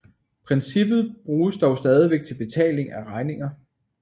Princippet bruges dog stadigvæk til betaling af regninger